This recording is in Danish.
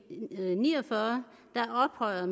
ni og fyrre ophøjer